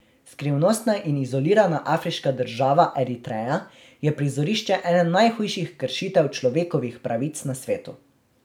Skrivnostna in izolirana afriška država Eritreja je prizorišče ene najhujših kršitev človekovih pravic na svetu.